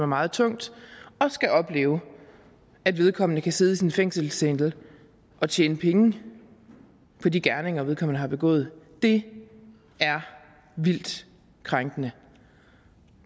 meget tungt skal opleve at vedkommende kan sidde i sin fængselscelle og tjene penge på de gerninger vedkommende har begået det er vildt krænkende